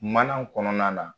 Mana kɔnɔna na